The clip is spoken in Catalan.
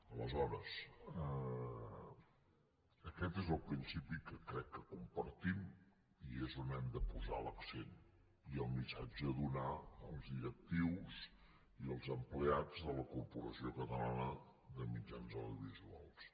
aleshores aquest és el principi que crec que compartim i és on hem de posar l’accent i el missatge a donar als directius i als empleats de la corporació catalana de mitjans audiovisuals